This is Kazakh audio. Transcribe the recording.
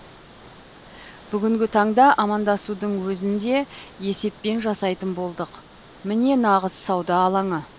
бүгінгі таңда амандасудың өзін де есеппен жасайтын болдық міне нағыз сауда алаңы